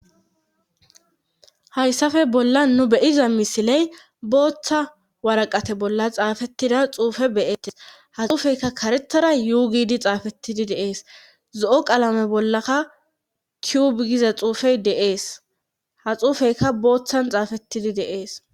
hayssafe bolla nu beyiza misiley booththa waraqate bolla xaafettida xuufe beyettes ha xuufeyka karetara yuugidi xaafetidi deees zo7o qaalame bollaka tiubigiza xuufey deees ha xuufeyka booththan xaafetidi deees